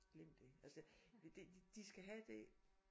glem det altså de de skal have det